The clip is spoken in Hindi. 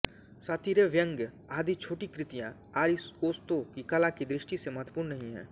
सातीरे व्यंग्य आदि छोटी कृतियाँ आरिओस्तो की कला की दृष्टि से महत्वपूर्ण नहीं हैं